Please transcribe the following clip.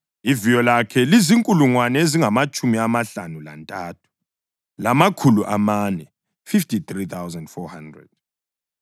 Iviyo lakhe lizinkulungwane ezingamatshumi amahlanu lantathu, lamakhulu amane (53,400).